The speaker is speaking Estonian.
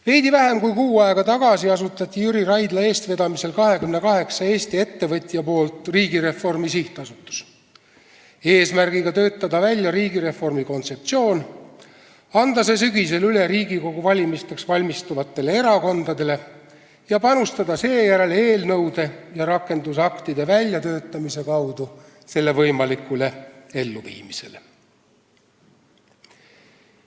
Veidi vähem kui kuu aega tagasi asutas 28 Eesti ettevõtjat Jüri Raidla eestvedamisel Riigireformi SA, seda tehti eesmärgiga töötada välja riigireformi kontseptsioon, anda see sügisel üle Riigikogu valimisteks valmistuvatele erakondadele ning panustada seejärel eelnõude ja rakendusaktide väljatöötamise kaudu selle võimalikule elluviimisele.